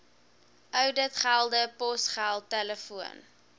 ouditgelde posgeld telefoon